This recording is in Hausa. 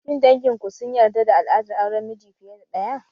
Shin dangin ku sun yarda da al'adar auren miji fiye da ɗaya?